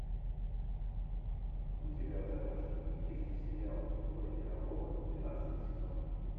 у тебя в загашнике есть сериал ип пирогова двенадцатый сезон